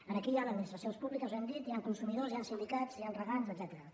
aquí hi ha administracions públiques ho hem dit hi han consumidors hi han sindicats hi han regants etcètera